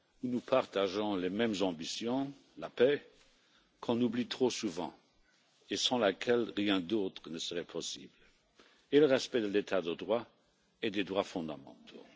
Nous partageons les mêmes ambitions, la paix qu'on oublie trop souvent et sans laquelle rien d'autre ne serait possible et le respect de l'état de droit et des droits fondamentaux.